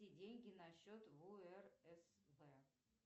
переведи деньги на счет в урсб